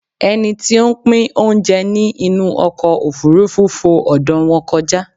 Ẹni tí o ń pín oúnjẹ ní inú ọkọ̀ òfurufú fo ọ̀dọ̀ wọn kọjá